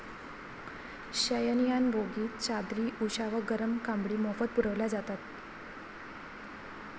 शयनयान बोगीत चादरी, उषा व गरम कांबळी मोफत पुरविल्या जातात.